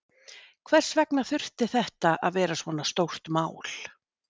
Hvers vegna þurfti þetta að vera svona stórt mál?